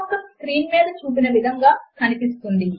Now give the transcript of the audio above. మరియు అక్కడ మనము చక్కగా ఎలైన్ చేసిన సమీకరణముల సెట్ ఉన్నది